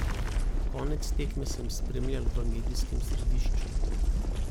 Konec tekme sem spremljal v medijskem središču.